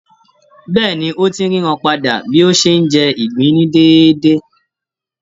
Bẹ́ẹ̀ni, ó ti ń ríran padà bí ó ṣe ń jẹ ìgbín ní déédé.